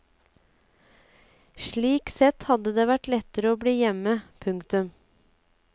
Slik sett hadde det vært lettere å bli hjemme. punktum